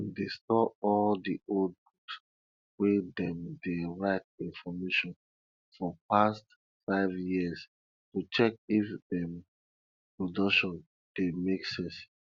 dem dey store all di old book wey dem dey write information for past 5 years to check if dem production dey make sense